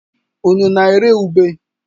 Unu na-ere ube?